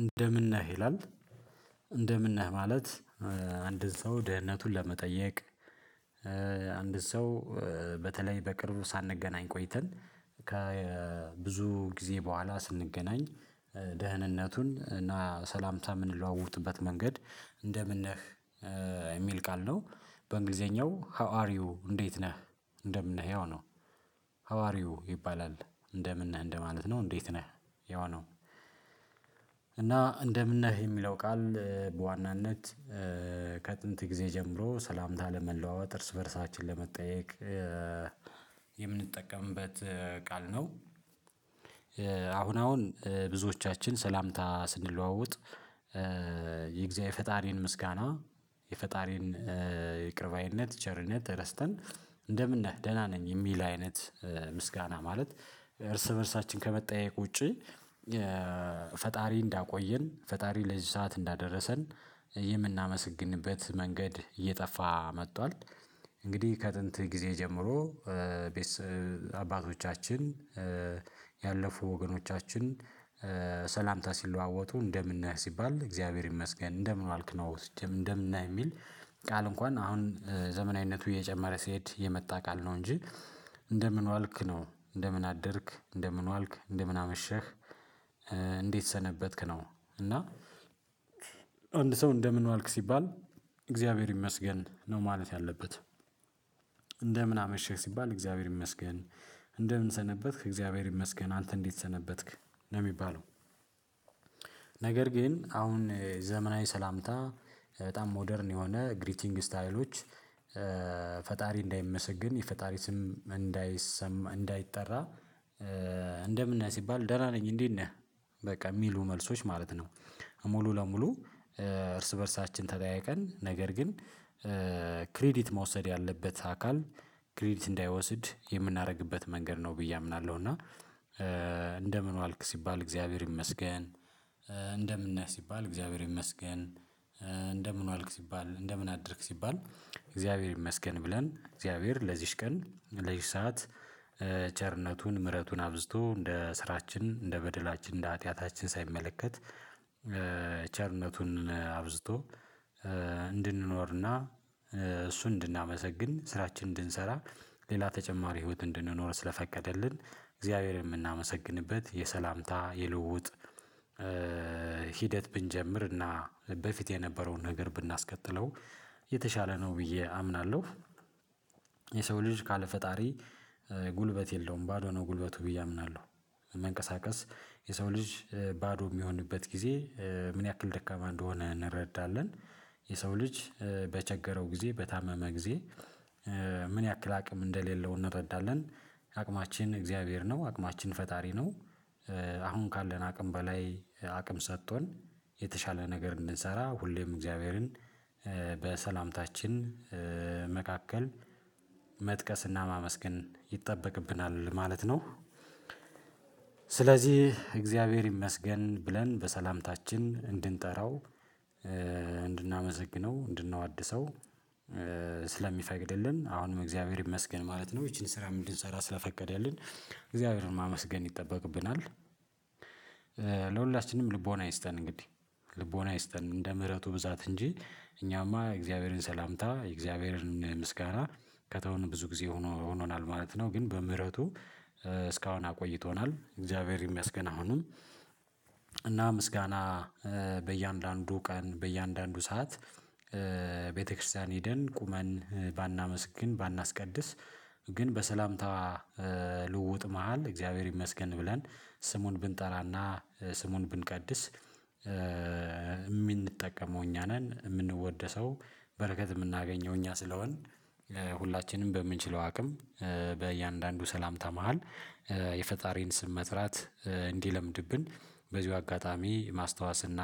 እንደምን ነህ ይላል። እንደምን ነህ ማለት አንድ ሰው ደህንነቱን ለመጠየቅ። አንድ ሰው በተለይ በቅርቡ ሳንገናኝ ቆይተን ከ ከብዙ ጊዜ በኋላ ስንገናኝ። ደህንነቱን እና ሰላምታ የምንለዋውጥበት መንገድ እንደምን ነህ? የሚል ቃል ነው። በእንግሊዘኛው ሃው አር ዩ እንዴት ነህ? እንደምን ነህ ያው ነው። ሐዋርዩ ይባላል እንደምን ነህ እንደማለት ነው እንዴት ነህ የሆነው? እና እንደምን ነህ የሚለው ቃል በዋናነት ከጥንት ጊዜ ጀምሮ ሰላምታ ለመለዋወጥ እርስ በእርሳችን ለመጠያየቅ የምንጠቀምበት ቃል ነው። አሁን አሁን ብዙዎቻችን ሰላምታ ስንለዋወጥ። የእግዚአብሔር ፈጣሪን ምስጋና የፈጣሪን ይቅር ባይነት ቸርነት ረስተን እንደምን ነህ ደህና ነኝ የሚል አይነት ምስጋና ማለት እርስ በእርሳችን ከመጠያየቅ ውጪ። ፈጣሪ እንዳቆየን ፈጣሪ ለዚህ ሰዓት እንዳደረሰን የምናመሰግንበት መንገድ እየጠፋ መጥቷል። እንግዲህ ከጥንት ጊዜ ጀምሮ። አባቶቻችን ያለፉ ወገኖቻችን ሰላምታ ሲለዋወጡ እንደምን ነህ ሲባል እግዚአብሔር ይመስገን እንደምን ዋልክ ነው እንደምን ነህ የሚል ቃል እንኳን አሁን ዘመናዊነቱ እየጨመረ ሲሄድ የመጣ ነው እንጂ እንደምን ዋልክ ነው እንደምን አደርክ እንደምን ዋልክ እንደምን አመሸህ። እንዴት ሰነበትክ ነው? እና አንድ ሰው እንደምን ዋልክ ሲባል እግዚአብሔር ይመስገን ነው ማለት ያለበት። እንደምን አመሸህ ሲባል እግዚአብሔር ይመስገን እንደምን ሰነበትክ እግዚአብሔር ይመስገን አንተ እንዴት ሰነበትክ ነው የሚባለው። ነገር ግን አሁን ዘመናዊ ሰላምታ በጣም ሞደርን የሆነ ግሪቲንግ ስታይሎች ፈጣሪ እንዳይመሰግን የፈጣሪ ስም እንዳይሰማ እንዳይጠራ። እንደምን ነህ ሲባል ደህና ነኝ እንዴት ነህ በቃ የሚሉ መልሶች ማለት ነው። ሙሉ ለሙሉ እርስ በእርሳችን ተጠያይቀን ነገር ግን። ክሬዲት መውሰድ ያለበት አካል ክሬዲት እንዳይወስድ የምናደርግበት መንገድ ነው ብዬ አምናለሁ እና። እንደምን ዋልክ ሲባል እግዚአብሔር ይመስገን። እንደምነህ ሲባል እግዚአብሔር ይመስገን። እንደምን ዋልክ ሲባል እንደምን አደርክ ሲባል እግዚአብሔር ይመስገን ብለን እግዚአብሔር ለዚች ቀን ለዚች ሰዓት ቸርነቱን ምህረቱን አብዝቶ እንደ ስራችን እንደ በደላችን እንደ ሀጢያታችን ሳይመለከት። ቸርነቱን አብዝቶ እንድንኖርና እሱን እንድናመሰግን ስራችን እንድንሰራ። ሌላ ተጨማሪ ህይወት እንድንኖር ስለፈቀደልን እግዚአብሔር የምናመሰግንበት የሰላምታ የልውውጥ። ሂደት ብንጀምርና በፊት የነበረውን ነገር ብናስቀጥለው የተሻለ ነው ብዬ አምናለሁ። የሰው ልጅ ካለ ፈጣሪ ጉልበት የለውም ባዶ ነው ጉልበቱ ብዬ አምናለሁ። መንቀሳቀስ የሰው ልጅ ባዶ የሚሆንበት ጊዜ ምን ያክል ደካማ እንደሆነ እንረዳለን። የሰው ልጅ በቸገረው ጊዜ በታመመ ጊዜ ምን ያክል አቅም እንደሌለው እንረዳለን። አቅማችን እግዚአብሔር ነው አቅማችን ፈጣሪ ነው። አሁን ካለን አቅም በላይ አቅም ሰጥቶን የተሻለ ነገር እንድንሰራ ሁሌም እግዚአብሔርን በሰላምታችን መካከል መጥቀስና ማመስገን ይጠበቅብናል ማለት ነው። ስለዚህ እግዚአብሔር ይመስገን ብለን በሰላምታችን እንድንጠራው እንድናመሰግነው እንድናወድሰው ስለሚፈቅድልን አሁንም እግዚአብሔር ይመስገን ማለት ነው ይቺን ስራ እንድንሰራ ስለፈቀደልን እግዚአብሔርን ማመስገን ይጠበቅብናል። ለሁላችንም ልቦና ይስጠን እንግዲህ ልቦና ይስጠን እንደ ምህረቱ ብዛት እንጂ እኛማ የእግዚአብሔርን ሰላምታ የእግዚአብሔርን ምስጋና ከተውን ብዙ ጊዜ ሆኖ ሆኖናል ማለት ነው። ግን በምህረቱ እስካሁን አቆይቶናል እግዚአብሔር ይመስገን አሁንም። እና ምስጋና በእያንዳንዱ ቀን በእያንዳንዱ ሰዓት። ቤተክርስቲያን ሄደን ቁመን ባናመሰግን ባናስቀድስ ግን በሰላምታ ልውውጥ መሃል እግዚአብሔር ይመስገን ብለን ስሙን ብንጠራና ስሙን ብንቀድስ። የምንጠቀመው እኛ ነን የምንወደሰው በረከት የምናገኘው እኛ ስለሆን። ሁላችንም በምንችለው አቅም በእያንዳንዱ ሰላምታ መሃል የፈጣሪን ስም መጥራት እንዲለምድብን በዚሁ አጋጣሚ ማስታወስና